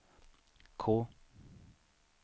K